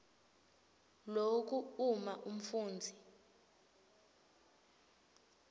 loku uma umfundzi